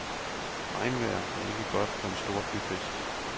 Regnvejr er ikke godt for en stor byfest.